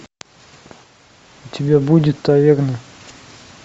у тебя будет таверна